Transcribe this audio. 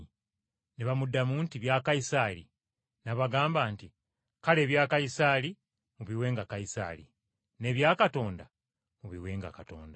Ne bamuddamu nti, “Bya Kayisaali.” N’abagamba nti, “Kale ebya Kayisaali mubiwenga Kayisaali, n’ebya Katonda mubiwenga Katonda.”